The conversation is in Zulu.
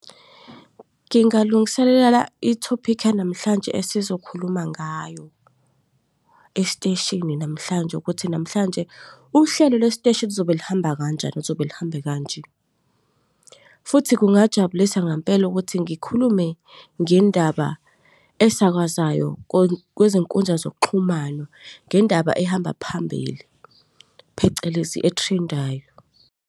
Ngingalungiselela ithophikhi yanamhlanje esizokhuluma ngayo esiteshini namhlanje ukuthi namhlanje uhlelo lwesiteshi lizobe lihamba kanjani lizobe lihambe kanje. Futhi, kungajabulisa ngempela ukuthi ngikhulume ngendaba esakwazayo kwezinkundla zokuxhumana, ngendaba ehamba phambili phecelezi e-trend-ayo.